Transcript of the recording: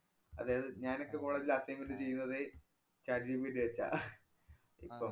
അതായത് ഞാനൊക്കെ കോളേജില്‍ assignment ചെയ്യുന്നത് chat GPT വച്ചാ ഇപ്പം.